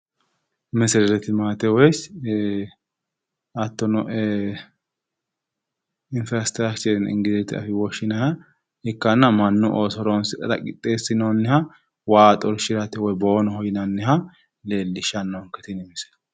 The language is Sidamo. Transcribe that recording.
Meserete limaate woyi hattono infirastiraakcheri yine ingilite afiinni woshshinanniha ikkanna mannu ooso horoonsidhara qixxeessinoonniha waa xorshirate woyi boonoho yinanniha Leellishshannonke tini misile.